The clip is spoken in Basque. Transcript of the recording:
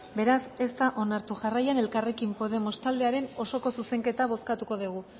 beraz ez da onartu jarraian elkarrekin podemos taldearen osoko zuzenketa bozkatuko dugu